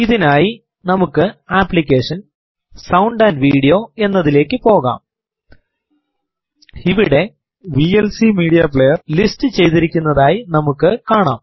ഇതിനായി നമുക്ക് അപ്ലിക്കേഷൻഗ്ട്സൌണ്ട് ആംപ് വീഡിയോ എന്നതിലേക്ക് പോകാം ഇവിടെ വിഎൽസി മീഡിയ പ്ലേയർ ലിസ്റ്റ് ചെയ്തിരിക്കുന്നതായി നമുക്ക് കാണാം